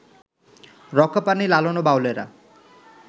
রক্ষা পাননি লালন ও বাউলেরা